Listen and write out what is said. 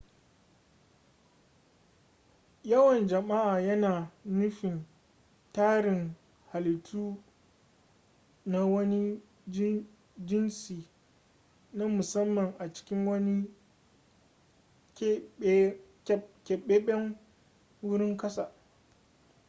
yawan jama'a yana nufi tarin halittu na wani jinsi na musamman a cikin wani keɓaɓɓen wurin ƙasa